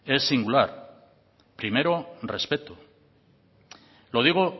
es singular primero respeto lo digo